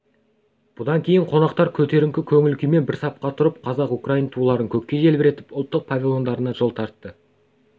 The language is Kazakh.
бұдан кейін қонақтар көтеріңкі көңіл-күймен бір сапқа тұрып қазақ-украин туларын көкке желбіретіп ұлттық павильондарына жол тартты